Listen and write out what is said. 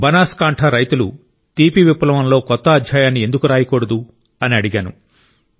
బనాస్ కాంఠ రైతులు తీపి విప్లవంలో కొత్త అధ్యాయాన్ని ఎందుకు రాయకూడదు అని అడిగాను